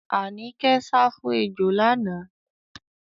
Àníkẹ́ sá fún ejò lánàá.